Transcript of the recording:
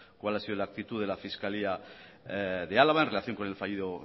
cuál ha sido la actitud de la fiscalía de álava en relación con el fallido